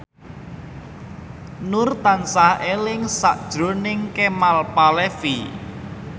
Nur tansah eling sakjroning Kemal Palevi